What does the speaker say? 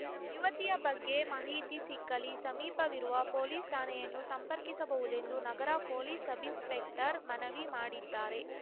ಯುವತಿಯ ಬಗ್ಗೆ ಮಾಹಿತಿ ಸಿಕ್ಕಲ್ಲಿ ಸಮೀಪವಿರುವ ಪೊಲೀಸ್ ಠಾಣೆಯನ್ನು ಸಂಪರ್ಕಿಸಬಹುದೆಂದು ನಗರ ಪೊಲೀಸ್ ಸಬ್ಇನ್ಸ್‌ಪೆಕ್ಟರ್ ಮನವಿ ಮಾಡಿದ್ದಾರೆ